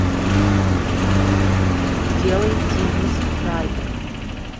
делай денис райдер